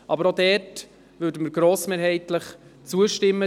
Aber auch diesem werden wir grossmehrheitlich zustimmen.